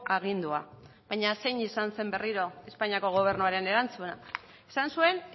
agindua baina zein izan zen berriro espainiako gobernuaren erantzuna esan zuen